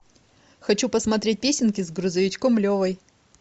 хочу посмотреть песенки с грузовичком левой